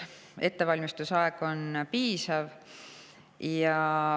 Ettevalmistusaeg on piisav.